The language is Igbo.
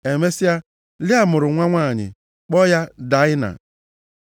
Emesịa, Lịa mụrụ nwa nwanyị, kpọọ ya Daịna.